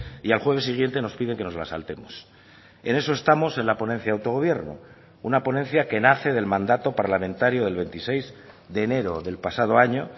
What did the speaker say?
y al jueves siguiente nos pide que nos la saltemos en eso estamos en la ponencia de autogobierno una ponencia que nace del mandato parlamentario del veintiséis de enero del pasado año